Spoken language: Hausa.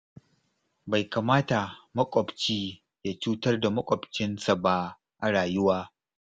Bai kamata makwabci ya cutar da maƙwabcinsa ba a rayuwa.